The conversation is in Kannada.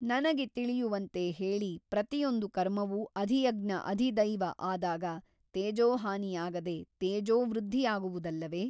ನನಗೆ ತಿಳಿಯುವಂತೆ ಹೇಳಿ ಪ್ರತಿಯೊಂದು ಕರ್ಮವೂ ಅಧಿಯಜ್ಞ ಅಧಿದೈವ ಆದಾಗ ತೇಜೋಹಾನಿಯಾಗದೆ ತೇಜೋವೃದ್ಧಿಯಾಗುವುದಲ್ಲವೆ ?